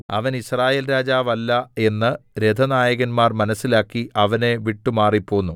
അവൻ യിസ്രായേൽരാജവല്ല എന്ന് രഥനായകന്മാർ മനസ്സിലാക്കി അവനെ വിട്ടുമാറി പോന്നു